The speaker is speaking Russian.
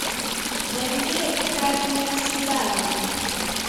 набери краденое свидание